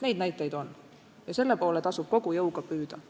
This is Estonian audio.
Neid näiteid on ja selle poole tasub kogu jõuga pürgida.